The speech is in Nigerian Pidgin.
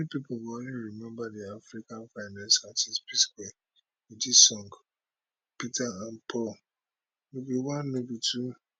many pipo go always remember di africa finest artistes psquare wit dis song peter and paul be one no be two